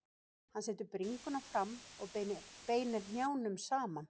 Hann setur bringuna fram og beinir hnjánum saman.